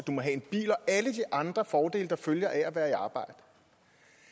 alle de andre fordele der følger af at være i arbejde